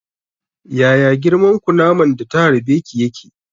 Yaya girman kunaman da ta harbe ki yake?